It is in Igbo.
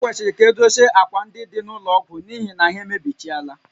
Ekwesịrị ka edochie ákwà ndị dị n'ụlọ ọgwụ n'ihi na ha emebichaala